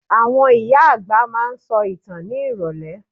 Àwọn ìyá àgbà máa ń sọ ìtàn ní ìrọ̀lẹ́.